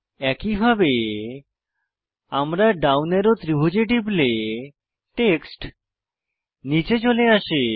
একইভাবে আমরা down arrow ত্রিভুজে টিপলে টেক্সট নীচে চলে আসে